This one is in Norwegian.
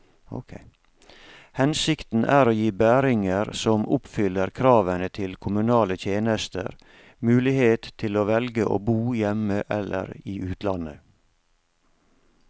Hensikten er å gi bæringer som oppfyller kravene til kommunale tjenester, mulighet til å velge å bo hjemme eller i utlandet.